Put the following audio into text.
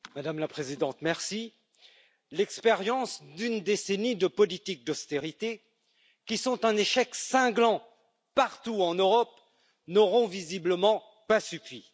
Madame la Présidente, l'expérience d'une décennie de politiques d'austérité, qui sont un échec cinglant partout en Europe, n'aura visiblement pas suffi.